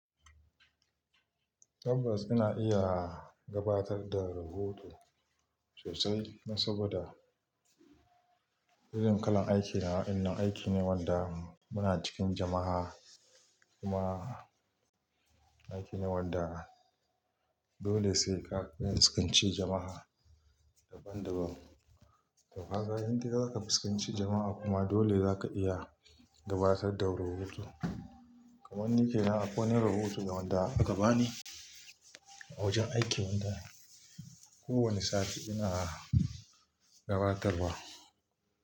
Tabbas ina iya gabatar da rahoto sosai saboda irin kalan aikina. Ina aiki ne wanda muna cikin jama'a kuma aiki ne wanda dole sai ka fiskance jama'a daban-daban. To ka ga in dai za ka fuskanci jama'a kuma dole za ka iya gabatar da rahoto. Kamanni ke nan akwai wani rahoto wanda aka bani a wajen aiki wanda kowane sati ina gabatarwa.